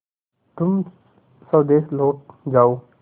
तुम स्वदेश लौट जाओ